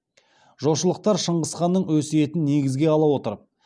жошылықтар шыңғыс ханның өсейтін негізге ала отырып